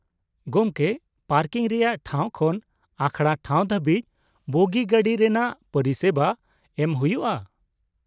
ᱜᱚᱢᱠᱮ, ᱯᱟᱨᱠᱤᱝ ᱨᱮᱭᱟᱜ ᱴᱷᱟᱶ ᱠᱷᱚᱱ ᱟᱠᱷᱲᱟ ᱴᱷᱟᱶ ᱫᱷᱟᱹᱵᱤᱡ ᱵᱚᱜᱤ ᱜᱟᱹᱰᱤ ᱨᱮᱱᱟᱜ ᱯᱚᱨᱤᱥᱮᱵᱟ ᱮᱢ ᱦᱩᱭᱩᱜᱼᱟ ᱾